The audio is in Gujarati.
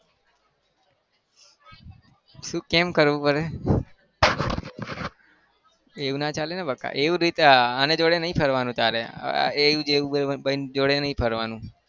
શું કેમ કરવું પડે? એવું ના ચાલે ને બકા એવું બી આની જોડે નહિ ફરવાનું તારે એવું જ એવું ભાઈબંધ જોડે નહિ ફરવાનું